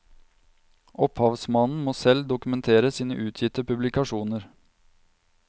Opphavsmannen må selv dokumentere sine utgitte publikasjoner.